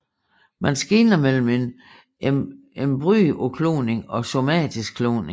Man skelner mellem embryokloning og somatisk kloning